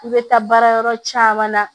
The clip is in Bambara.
I bɛ taa baara yɔrɔ caman na